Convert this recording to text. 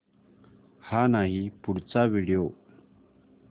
हा नाही पुढचा व्हिडिओ